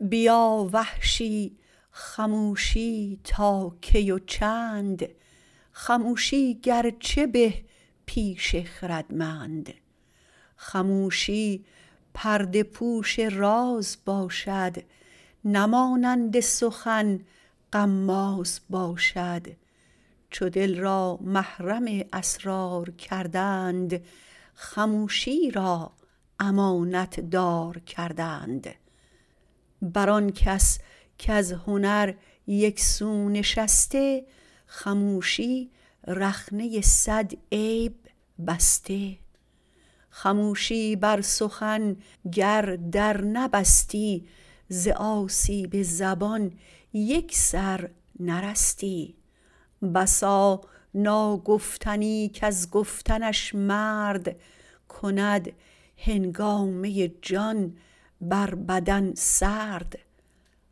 بیا وحشی خموشی تا کی و چند خموشی گرچه به پیش خردمند خموشی پرده پوش راز باشد نه مانند سخن غماز باشد چو دل را محرم اسرار کردند خموشی را امانت دار کردند بر آن کس کز هنر یکسو نشسته خموشی رخنه سد عیب بسته خموشی بر سخن گر در نبستی ز آسیب زبان یک سر نرستی بسا ناگفتنی کز گفتنش مرد کند هنگامه جان بر بدن سرد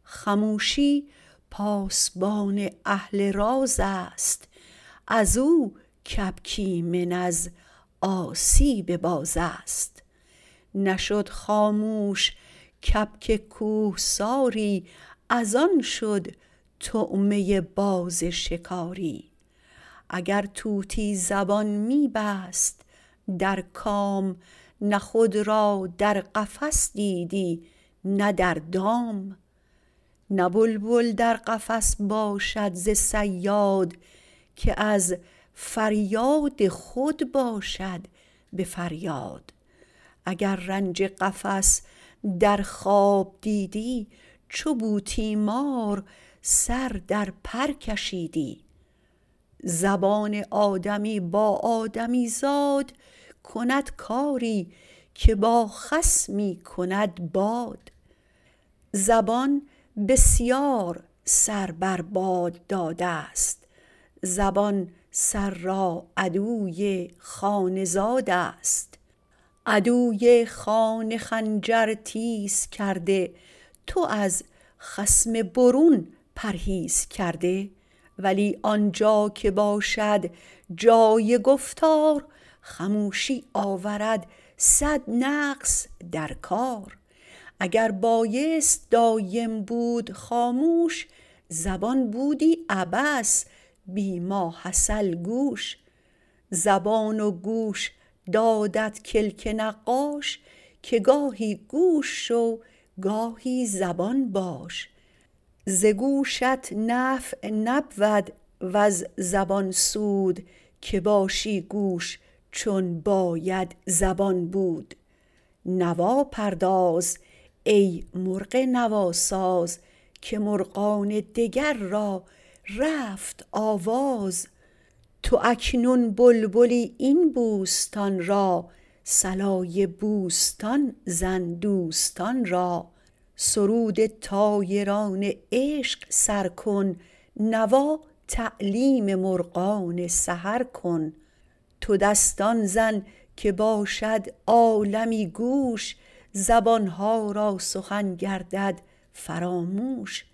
خموشی پاسبان اهل راز است از او کبک ایمن از آشوب باز است نشد خاموش کبک کوهساری از آن شد طعمه باز شکاری اگر توتی زبان می بست در کام نه خود را در قفس دیدی نه در دام نه بلبل در قفس باشد ز صیاد که از فریاد خود باشد به فریاد اگر رنج قفس در خواب دیدی چو بوتیمار سر در پر کشیدی زبان آدمی با آدمیزاد کند کاری که با خس می کند باد زبان بسیار سر بر باد دادست زبان سر را عدوی خانه زادست عدوی خانه خنجر تیز کرده تو از خصم برون پرهیز کرده ولی آنجا که باشد جای گفتار خموشی آورد سد نقص در کار اگر بایست دایم بود خاموش زبان بودی عبث بی ماحصل گوش زبان و گوش دادت کلک نقاش که گاهی گوش شو گاهی زبان باش ز گوشت نفع نبود وز زبان سود که باشی گوش چون باید زبان بود نوا پرداز ای مرغ نواساز که مرغان دگر را رفت آواز تو اکنون بلبلی این بوستان را صلای بوستان زن دوستان را سرود طایران عشق سر کن نوا تعلیم مرغان سحر کن تو دستان زن که باشد عالمی گوش زبانها را سخن گردد فراموش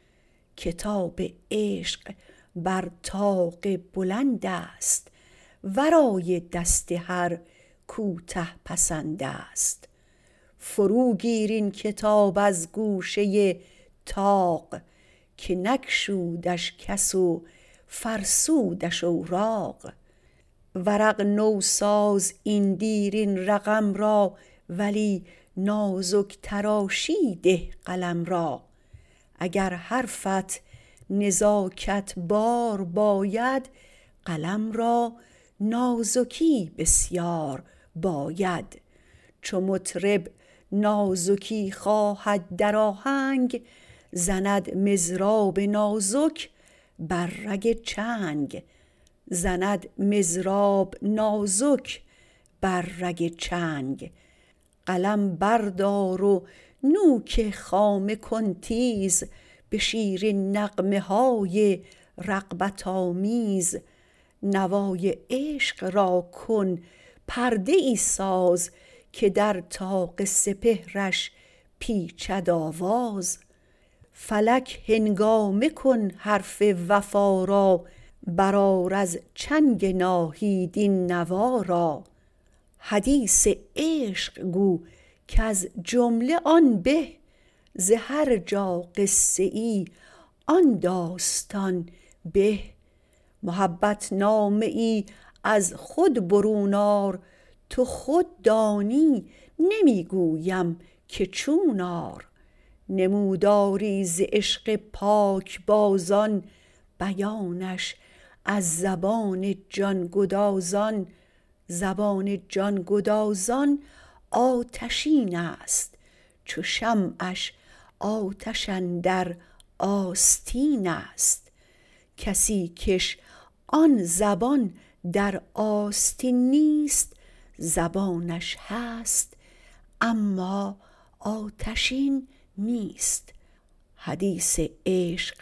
کتاب عشق بر طاق بلند است ورای دست هر کوته پسند است فرو گیر این کتاب از گوشه طاق که نگشودش کس و فرسودش اوراق ورق نوساز این دیرین رقم را ولی نازک تراشی ده قلم را اگر حرفت نزاکت بار باید قلم را نازکی بسیار باید چو مطرب نازکی خواهد در آهنگ زند مضراب نازک بر رگ چنگ قلم بردار و نوک خامه کن تیز به شیرین نغمه های رغبت آمیز نوای عشق را کن پرده ای ساز که در طاق سپهرش پیچد آواز فلک هنگامه کن حرف وفا را برآر از چنگ ناهید این نوا را حدیث عشق گو کز جمله آن به ز هر جا قصه آن داستان به محبت نامه ای از خود برون آر تو خود دانی نمی گویم که چون آر نموداری ز عشق پاک بازان بیانش از زبان جان گدازان زبان جان گدازان آتشین است چو شمعش آتش اندر آستین است کسی کش آن زبان در آستین نیست زبانش هست اما آتشین نیست حدیث عشق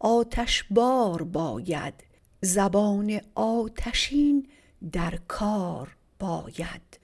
آتشبار باید زبان آتشین در کار باید